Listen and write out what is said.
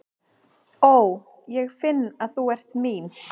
Ó, ég finn að þú ert mín.